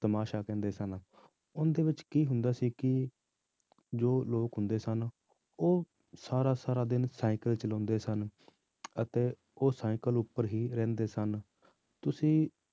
ਤਮਾਸ਼ਾ ਕਹਿੰਦੇ ਸਨ, ਉਹਨਾਂ ਦੇ ਵਿੱਚ ਕੀ ਹੁੰਦਾ ਸੀ ਕਿ ਜੋ ਲੋਕ ਹੁੰਦੇ ਸਨ, ਉਹ ਸਾਰਾ ਸਾਰਾ ਦਿਨ ਸਾਇਕਲ ਚਲਾਉਂਦੇ ਸਨ ਅਤੇ ਉਹ ਸਾਇਕਲ ਉੱਪਰ ਹੀ ਰਹਿੰਦੇ ਸਨ ਤੁਸੀਂ